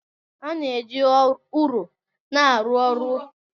A na-eji ụrọ na-arụ ụlọ ochie ebe a na-eji kọnkirịtị arụ ụlọ ọhụrụ